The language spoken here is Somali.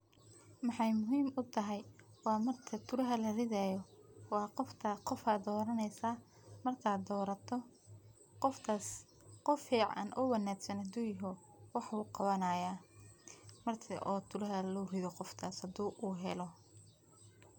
Maxeey muhiim u tahay waa marka kuraha la ridaayo ,waa qofka ,qofaa doraneysaa ,markaa doorato qofkaas qof fiican oo wanaagsan haduu yaho wax wuu qawanayaa marki oo kuraha loo rido qofkaas haduu uu helo.